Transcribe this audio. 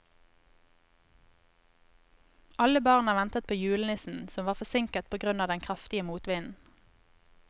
Alle barna ventet på julenissen, som var forsinket på grunn av den kraftige motvinden.